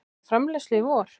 Hefja framleiðslu í vor